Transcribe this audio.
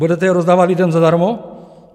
Budete je rozdávat lidem zadarmo?